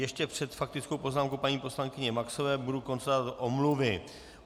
Ještě před faktickou poznámkou paní poslankyně Maxové budu konstatovat omluvy.